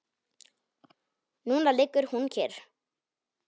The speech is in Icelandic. Núna liggur hún kyrr.